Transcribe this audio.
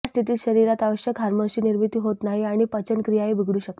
या स्थितित शरीरात आवश्यक हार्मोन्सची निर्मिती होत नाही आणि पचनक्रियाही बिघडू शकते